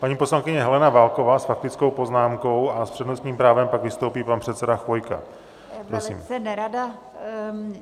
Paní poslankyně Helena Válková s faktickou poznámkou a s přednostním právem pak vystoupí pan předseda Chvojka.